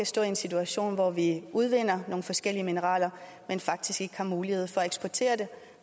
stå i en situation hvor vi udvinder nogle forskellige mineraler men faktisk ikke har mulighed for at eksportere dem